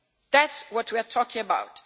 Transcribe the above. That is what we are talking about.